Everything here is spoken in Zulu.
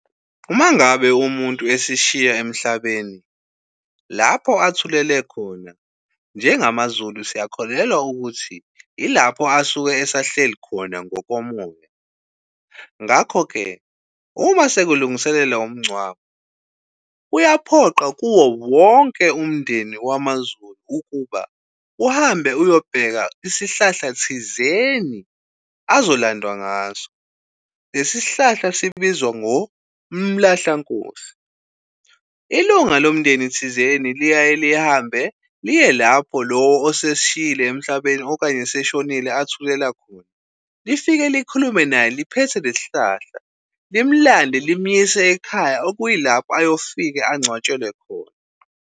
Uma ngabe umuntu esishiya emhlabeni lapho athulele khona, njengamaZulu, siyakholelwa ukuthi ilapho asuke esahleli khona ngokomoya. Ngakho-ke uma sekulungiselelwa umngcwabo, kuyaphoqa kuwo wonke umndeni wamaZulu ukuba uhambe, uyobheka isihlahla thizeni azolandwa ngaso lesi sihlahla sibizwa ngo mlahlankosi. Ilunga lomndeni thizeni liyaye lihambe liye lapho lowo osesishiyile emhlabeni okanye seshonile athulela khona lifike likhulume naye liphethe lesihlahla, limlande limyise ekhaya okuyilapho ayofike angcwatshelwe khona.